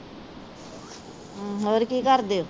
ਹੋਰ ਕੀ ਕਰਦੇ ਓ?